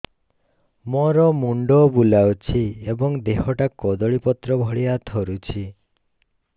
ମୋର ମୁଣ୍ଡ ବୁଲାଉଛି ଏବଂ ଦେହଟା କଦଳୀପତ୍ର ଭଳିଆ ଥରୁଛି